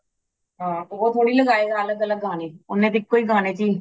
ਹਾਂ ਉਹ ਧੋੜੀ ਲਗਾਏ ਗਾ ਅਲੱਗ ਅਲੱਗ ਗਾਣੇ ,ਓਨੇ ਤੇ ਇਕੋ ਗਾਣੇ ਚਹੀ